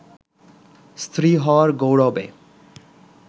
স্ত্রী হওয়ার গৌরবে